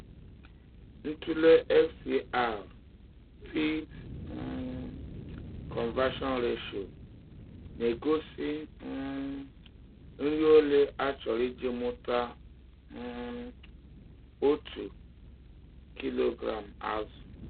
Ntụle FCR (feed um conversion ratio) na-egosi um nri ole a chọrọ iji mụta um otu kilogram azụ.